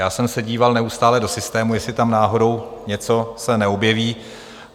Já jsem se díval neustále do systému, jestli tam náhodou něco se neobjeví.